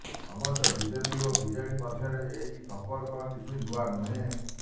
ଅବଶ୍ୟ ବିଜେପି ଓ ବିଜେଡି ମଧ୍ୟରେ ଏହି ସମ୍ପର୍କ କିଛି ନୂଆ ନୁହେଁ